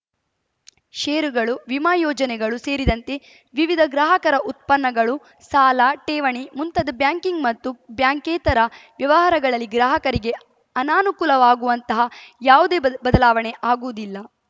ಷೇರುಗಳು ವಿಮಾ ಯೋಜನೆಗಳು ಸೇರಿದಂತೆ ವಿವಿಧ ಗ್ರಾಹಕರ ಉತ್ಪನ್ನಗಳು ಸಾಲ ಠೇವಣಿ ಮುಂತಾದ ಬ್ಯಾಂಕಿಂಗ್‌ ಮತ್ತು ಬ್ಯಾಂಕೇತರ ವ್ಯವಹಾರಗಳಲ್ಲಿ ಗ್ರಾಹಕರಿಗೆ ಅನಾನುಕೂಲವಾಗುಂತಹ ಯಾವುದೇ ಬದಲಾವಣೆ ಆಗುವುದಿಲ್ಲ